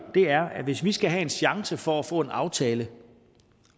er at hvis vi skal have en chance for at få en aftale